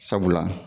Sabula